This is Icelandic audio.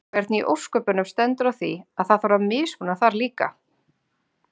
Hvernig í ósköpunum stendur á því að það þarf að mismuna þar líka?